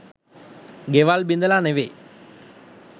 ගෙවල් බිඳලා නොවෙයි